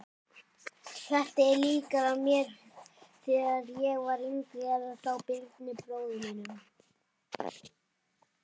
Þetta er líkara mér þegar ég var yngri eða þá Birni bróður þínum.